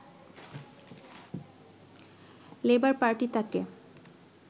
labour Party তাঁকে